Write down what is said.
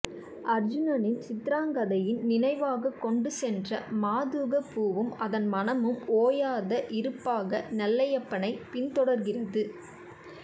அர்சுனன் சித்ராங்கதையின் நினைவாகக் கொண்டு சென்ற மதூகப் பூவும் அதன் மணமும் ஓயாத இருப்பாக நெல்லையப்பனை பின் தொடர்கிறது